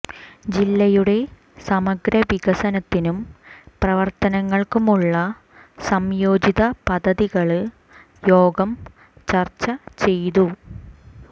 ജില്ലയുടെ സമഗ്ര വികസനത്തിനും പ്രവര്ത്തനങ്ങള്ക്കുമുളള സംയോജിത പദ്ധതികള് യോഗം ചര്ച്ച ചെയ്തു